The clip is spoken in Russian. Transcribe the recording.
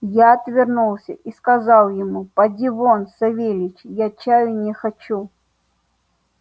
я отвернулся и сказал ему поди вон савельич я чаю не хочу